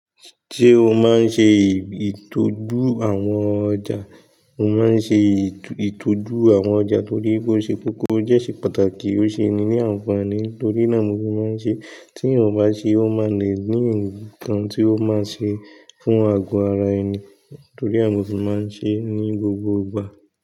Ṣé o máa ń ṣe ìtọ́jú àwọn ọjà? Mo máa ń ṣe ètò ìtọ́jú àwọn ọjà torí bó ṣe kókó dẹ́ ṣe pàtàkì, ó ṣe ẹni ní ànfàní. Torí náà mo sì máa ń ṣe, tí eeyan bá ṣe, o máa le ǹkan tí o máa n ṣe fún àgọ́ ara ẹni, toríe mọ́ fi sì máa ń ṣe é ní gbogbo ìgbà.